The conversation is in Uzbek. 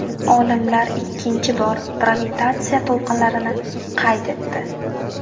Olimlar ikkinchi bor gravitatsiya to‘lqinlarini qayd etdi.